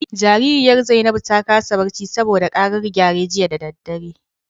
Jaririyar Zainabu ta kasa barci saboda karar gyare jiya da dare.